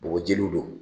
Bɔgɔjiw don